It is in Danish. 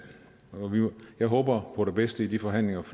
jeg håber på det bedste i de forhandlinger